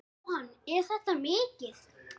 Jóhann: Er þetta mikið?